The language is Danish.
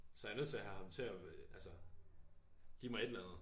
Så jeg er nødt til at have ham til at altså give mig et eller andet